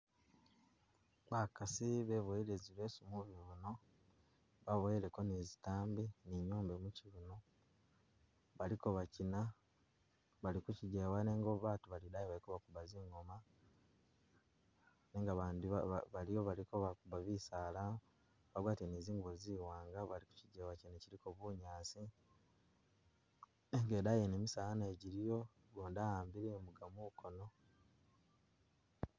Bakasi bebowele zileso mubibuno, baboweleko ni zintambi ni nyombe mukyibuno, baliko bakyina bali kukyijewa nenga batu bali idayi baliko bakuba zingoma, nenga bandi ba- baliyo baliko bakuba bisala bagwatile ni zingubo zi wanga bali kukyijewa kyene kyiliko bunyaasi, nenga idayi wene misaala nayo jiliyo gundi wa'ambile imuka mukono